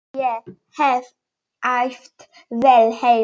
Ég hef æft vel heima.